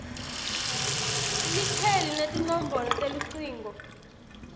likheli netinombolo telucingo